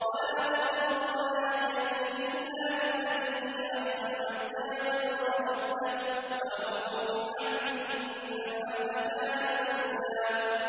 وَلَا تَقْرَبُوا مَالَ الْيَتِيمِ إِلَّا بِالَّتِي هِيَ أَحْسَنُ حَتَّىٰ يَبْلُغَ أَشُدَّهُ ۚ وَأَوْفُوا بِالْعَهْدِ ۖ إِنَّ الْعَهْدَ كَانَ مَسْئُولًا